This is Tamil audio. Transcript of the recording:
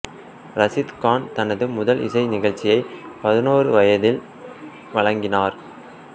இரசீத் கான் தனது முதல் இசை நிகழ்ச்சியை பதினொரு வயதில் வழங்கினார்